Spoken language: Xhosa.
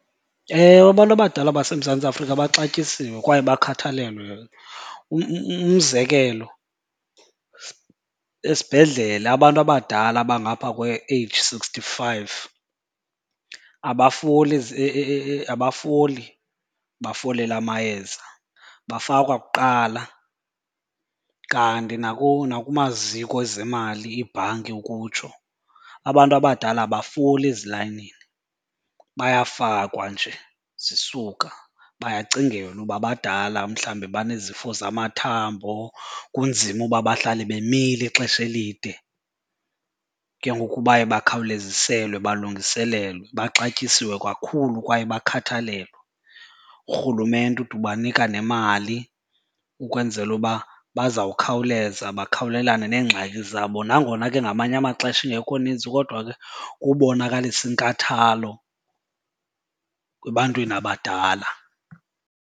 Ewe, abantu abadala baseMzantsi Afrika baxatyisiwe kwaye bakhathalelwe. Umzekelo esibhedlele abantu abadala abangapha kwe-age sixty-five abafoli abafoli bafolele amayeza, bafakwa kuqala. Kanti nakumaziko ezemali, iibhanki ukutsho, abantu abadala abafoli ezilayinini, bayafakwa nje zisuka. Bayacingelwa uba badala mhlawumbi banezifo zamathambo, kunzima uba bahlale bemile ixesha elide ke ngoku baye bakhawuleziselwe balungiselelwe. Baxatyisiwe kakhulu kwaye bakhathalelwe. Urhulumente ude ubanika nemali ukwenzela uba bazawukhawuleza bakhawulelane neengxaki zabo. Nangona ke ngamanye amaxesha ingekho nintsi kodwa ke kubonakalisa inkathalo kubantwini abadala.